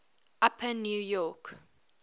upper new york